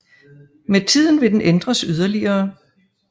Med tiden vil den ændres yderligere